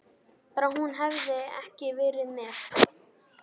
Bara hún hefði ekki verið með.